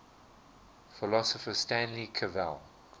philosopher stanley cavell